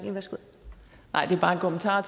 tager